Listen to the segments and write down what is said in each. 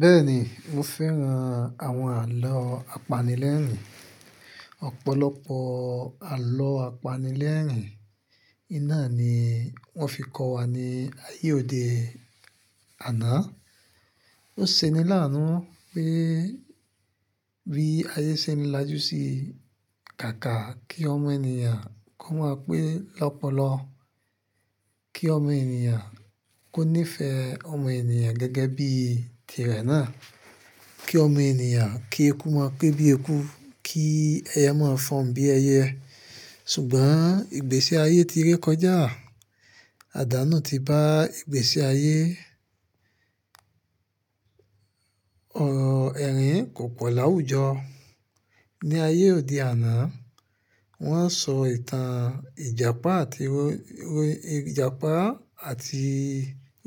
Bẹ́ẹ̀ni, mo fẹ́ran àwọn àlọ́ apanilẹ́rìn-ín. Ọ̀pọ̀lọpọ̀ àlọ́ apanilẹ́rìn-ín, iná ni wọ́n fi kọ́ wa ní ayé òde àná. Ó ṣe ni láàánú pé bí ayé ṣe ń lájú sí kàkà kí ọmọ ènìyàn kó mọ̀ pé lọ́pọ̀lọ́pọ̀ kí ọmọ ènìyàn kó nífẹ̀ẹ́ ọmọ ènìyàn gẹ́gẹ́ bí tirẹ̀ náà. Kí ọmọ ènìyàn kí eku mọ̀ pé bí eku, kí ẹyẹ mọ̀ fohun bí ẹyẹ. Ṣùgbọ́n ìgbésí ayé ti ré kọjá, àdánù ti bá ìgbésí ayé, ọ̀, ẹ̀rín kò pọ̀ láwùjọ. Ni ayé òde àná, wọ́n sọ ìtàn Ìjàpá àti oy-oy-Ìjàpá àti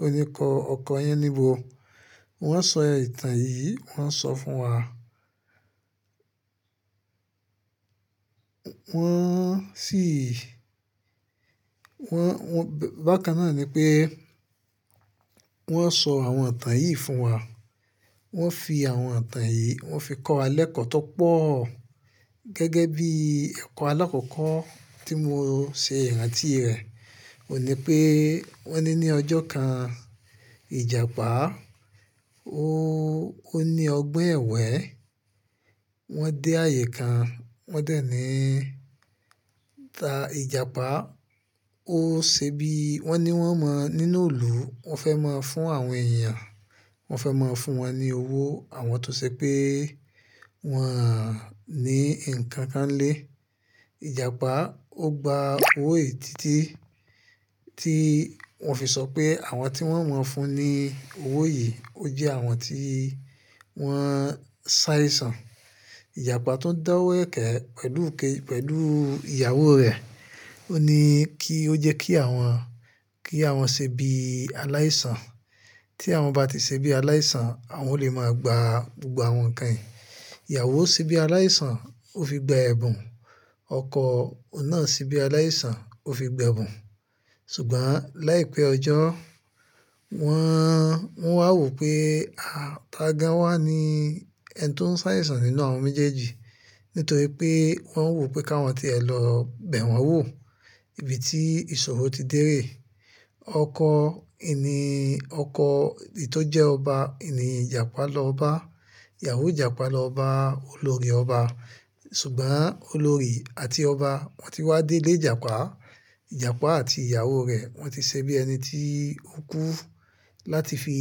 oníkọ ọkọ yaníbo. Wọ́n sọ ìtàn yìí, wọ́n sọ fún wa. Wọ́n sì, wọ́n, wọ́n, bákan náà ni pé wọ́n sọ àwọn ìtàn yìí fún wa. Wọ́n fi àwọn ìtàn yìí, wọ́n fi kọ́ wa lékọ̀ọ́ tó pọ̀ gẹ́gẹ́ bí ẹ̀kọ́ alákọ̀ọ́kọ́ tí mo ṣe ìrántí rẹ̀. Ó ní pé wọ́n ní ní ọjọ́ kan, Ìjàpá ó, ó ní ọgbon ẹ̀wẹ́. Wọ́n dé ààyè kan, wọ́n dẹ̀ ní ta Ìjàpá. Ó ṣe bí, wọ́n ní wọ́n mọ nínú ilù, wọ́n fẹ́ mọ fún àwọn èyàn, wọ́n fẹ́ mọ fún wọn ní owó àwọn tó ṣe pé wọ́n á ní nǹkan kan lé. Ìjàpá ó gba owó ètítí tí wọ́n fi sọ pé àwọn tí wọ́n mọ fún ní owó yìí, ó jẹ́ àwọn tí wọ́n se aisan. Ìjàpá tó ń dá owó ẹ̀kẹ́ pẹ̀lú ké-pẹ̀lú ìyàwó rẹ̀ ó ní kí ó jẹ́ kí àwọn, kí àwọn ṣe bí aláìsàn. Tí àwọn bá ti ṣe bí aláìsàn, àwọn ó lè máa gba gbogbo àwọn ǹkan yìí. Ìyàwó ṣe bí aláìsàn, ó fi gba ẹ̀bùn. Ọkọ ọ̀nà ṣe bí aláìsàn, ó fi gba ẹ̀bùn. Ṣùgbọ́n láìpẹ́ ọjọ́, wọ́n, wọ́n wá wò pé, a, tagan wà ní ẹni tó ń sá aisan nínú àwọn méjèèjì nítorí pé wọ́n wò pé káwọn ti è lọ bẹ̀ wọ́n wò ibi tí ìṣòro ti dé reè. Ọkọ ìní, ọkọ, èyí tó jẹ́ ọba, ìní Ìjàpá lọ bá ìyàwó Ìjàpá lọ bá olórí ọba. Ṣùgbọ́n olórí àti ọba wọ́n ti wá dé ilé Ìjàpá. Ìjàpá àti ìyàwó rẹ̀ wọ́n ti ṣe bí ẹni tí ó kú láti fi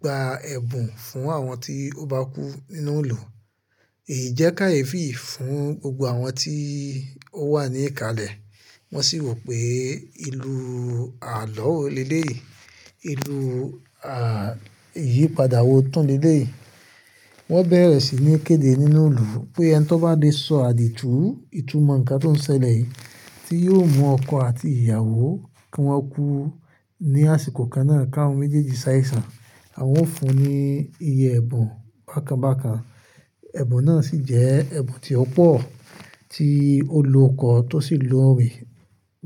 gba ẹ̀bùn fún àwọn tí ó bá kú nínú òòlù. È yii jẹ́ káyefi fún gbogbo àwọn tí ó wà ní ìkàlẹ̀. Wọ́n sì wò pé ìlú àlọ́ wò lelé yii ìru à, ìyípadà wò tún le lé yii Wọ́n bẹ̀rẹ̀ sí ní kéde nínú òòlù pé ẹni tó bá lè sọ àdìtú ìtumọ̀ ǹkan tó ń ṣẹlẹ̀ yìí tí yóò mú ọkọ àti ìyàwó kí wọ́n kú ní àsìkò kan náà káwọn méjèèjì sá aisan. Àwọn ó fún un ní iye ẹ̀bùn bákan bákan. Ẹ̀bùn náà sì jẹ́ ẹ̀bùn tí ó pọ̀ tí olo kọ́ tó sì lo ré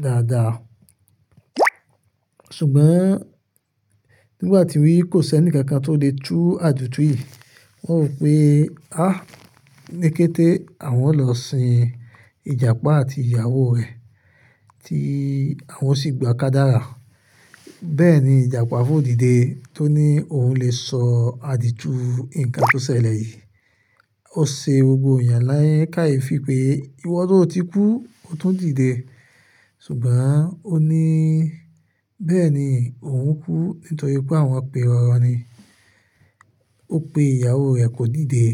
dáadáa. Ṣùgbọ́n nígbà tí kò sí ẹnìkankan tó lè tú àdìtú yìí, wọ́n wò pé, a, ní kété àwọn lọ sin Ìjàpá àti ìyàwó rẹ̀ tí àwọn o sì gba ká dára. Bẹ́ẹ̀ ni Ìjàpá fò díde tó ní òun lè sọ àdìtú ǹkan tó ṣẹlẹ̀ yìí. Ó ṣe gbogbo èèyàn ni keyefi pé ìwọ tó ti kú, o tún díde. Ṣùgbọ́n ó ní bẹ́ẹ̀ni òun kú nítorí pé àwọn piroro ni. Ó pe ìyàwó rẹ̀ kó díde.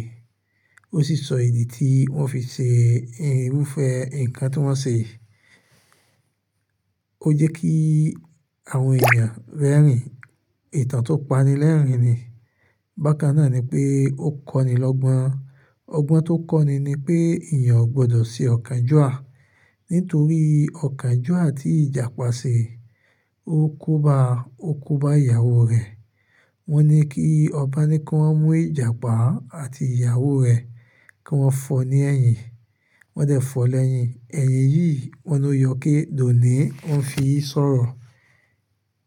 Ó sì sọ ìdí tí wọ́n fi ṣe irúfẹ́ ǹkan tí wọ́n ṣe. Ó jẹ́ kí àwọn èèyàn rẹ́rìn. Ìtàn tó pani lẹ́rìn-ín ni. Bákan náà ni pé ó kọ́ni lọ́gbọ́n. Ọgbọ́n tó kọ́ni ni pé èèyàn ò gbọdọ̀ ṣe ọkànjúà nítorí ọkànjúà tí Ìjàpá ṣe. Ó ko bá, ó ko bá ìyàwó rẹ̀. Wọ́n ní kí ọba ní kí wọ́n mú Ìjàpá àti ìyàwó rẹ̀ kí wọ́n fọ̀ ni eyìn. Wọ́n dẹ̀ fọ̀ ọ́ lẹ́yìn. Ẹ̀yìn yìí wọn ló yọké, dòní wọn fi sọ̀rọ̀.